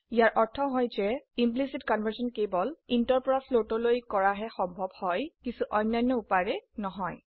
ইয়াৰ অৰ্থ হয় যে ইমপ্লিসিট কনভাৰ্সন কেবল intৰ পৰা floatলৈ কৰাহে সম্ভব হয় কিন্তু অন্যান্য উপায়েৰে নহয়